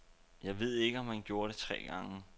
Jeg ved ikke, om han gjorde det tre gange.